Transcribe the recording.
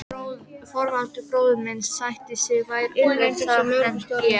Þorvaldur bróðir minn sætti sig verr við það en ég.